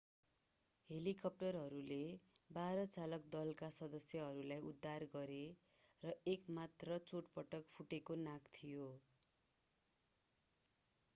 हेलिकप्टरहरूले बाह्र चालक दलका सदस्यहरूलाई उद्धार गरे र एक मात्र चोटपटक फुटेको नाक थियो